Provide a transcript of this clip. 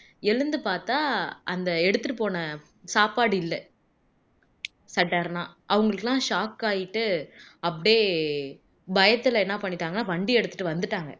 எழுந்து பாத்தா அந்த எடுத்துட்டு போன சாப்பாடு இல்ல sudden அ அவங்களுக்கெல்லாம் shock ஆயிட்டு அப்படியே பயத்துல என்ன பண்ணிட்டாங்கன்னா வண்டிய எடுத்திட்டு வந்துட்டாங்க